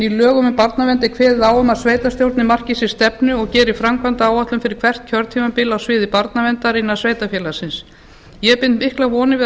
í lögum um barnavernd er kveðið á um að sveitarstjórnir marki sér stefnu og geri framkvæmdaáætlun fyrir hvert kjörtímabil á sviði barnaverndar innan sveitarfélagsins ég bind miklar vonir við að